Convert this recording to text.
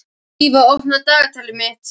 Íva, opnaðu dagatalið mitt.